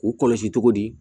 K'u kɔlɔsi cogo di